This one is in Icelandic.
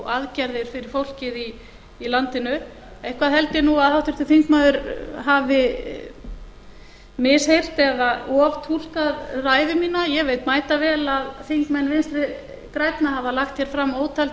aðgerðir fyrir fólkið í landinu eitthvað held ég að háttvirtur þingmaður hafi misheyrst eða oftúlkað ræðu mína ég veit mætavel að þingmenn vinstri grænna hafa lagt hér fram ótal